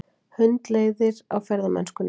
Hundleiðir á ferðamennskunni